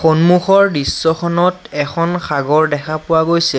সন্মুখৰ দৃশ্যখনত এখন সাগৰ দেখা পোৱা গৈছে।